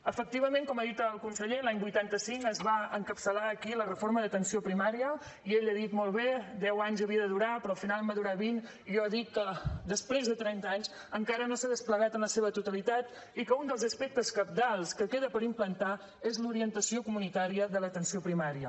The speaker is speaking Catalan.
efectivament com ha dit el conseller l’any vuitanta cinc es va encapçalar aquí la reforma d’atenció primària i ell ha dit molt bé deu anys havia de durar però al final en va durar vint i jo dic que després de trenta anys encara no s’ha desplegat en la seva totalitat i que un dels aspectes cabdals que queda per implantar és l’orientació comunitària de l’atenció primària